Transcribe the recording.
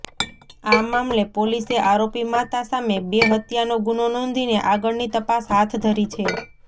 આ મામલે પોલીસે આરોપી માતા સામે બે હત્યાનો ગુનો નોંધીને આગળની તપાસ હાથ ધરી છે